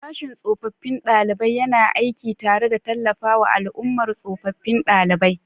Sashin tsofaffin ɗalibai yana aiki tare da tallafawa al'ummar tsofaffin ɗalibai.